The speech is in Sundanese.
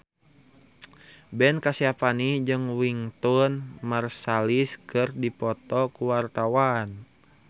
Ben Kasyafani jeung Wynton Marsalis keur dipoto ku wartawan